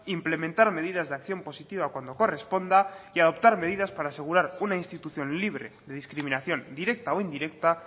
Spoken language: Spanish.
implementar medidas de acción positiva cuando corresponda y adoptar medidas para asegurar una institución libre de discriminación directa o indirecta